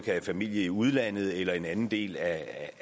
have familie i udlandet eller i en anden del af